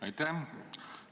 Aitäh!